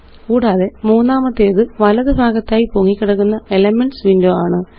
കൂടാതെ മൂന്നാമത്തേത് വലതു ഭാഗത്തായി പൊങ്ങിക്കിടക്കുന്ന എലിമെന്റ്സ് വിൻഡോ ആണ്